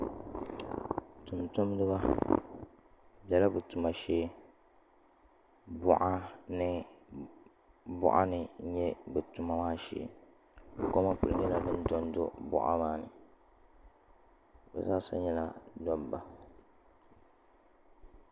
Tumtumdiba bi biɛla bi tuma shee boɣa ni moɣani n nyɛ bi tuma maa shee koma nyɛla din dondo boɣa ni bi zaa sa nyɛla dabba